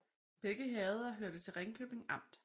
Begge herreder hørte til Ringkøbing Amt